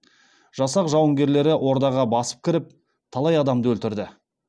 жасақ жауынгерлері ордаға басып кіріп талай адамды өлтірді